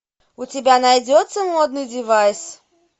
у тебя найдется модный девайс